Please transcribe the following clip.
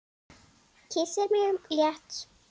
Kyssir mig létt.